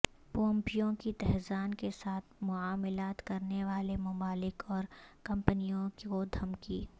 Pompeo کی Tehran کے ساتھ معاملات کرنے والے ممالک اور کمپنیوں کو دھمکی